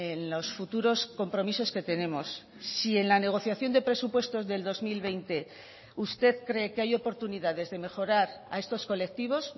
en los futuros compromisos que tenemos si en la negociación de presupuestos del dos mil veinte usted cree que hay oportunidades de mejorar a estos colectivos